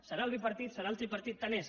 serà el bipartit serà el tripartit tant és